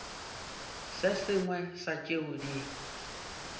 se sengwe sa tšeo di